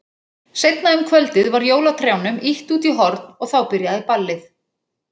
Seinna um kvöldið var jólatrjánum ýtt út í horn og þá byrjaði ballið.